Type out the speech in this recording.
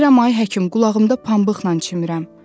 Deyirəm ay həkim, qulağımda pambıqla çimirəm.